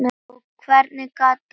Og hvernig gat annað verið?